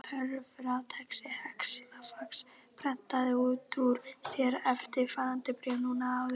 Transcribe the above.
Töfratækið telefax prentaði út úr sér eftirfarandi bréf núna áðan.